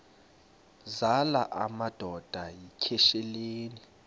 zala madoda yityesheleni